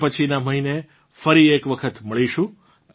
હવે પછીનાં મહીને ફરી એક વખત મળીશું